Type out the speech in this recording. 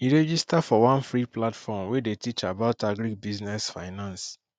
e register for one free platform wey dey teach about agribusiness finance